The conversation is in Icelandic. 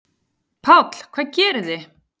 Páll: Hvað gerið þið?